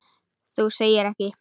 Þú segir ekki.